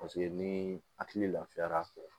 Paseke ni hakili lafiyara